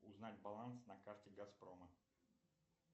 узнать баланс на карте газпрома